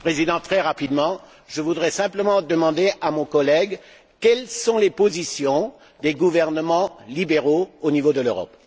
Monsieur le Président, très rapidement, je voudrais simplement demander à mon collègue quelles sont les positions des gouvernements libéraux au niveau de l'Europe.